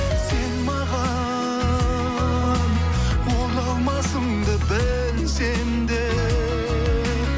сен маған оралмасыңды білсем де